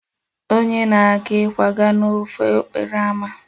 Onye na-aga ịkwaga n'ofe okporo ámá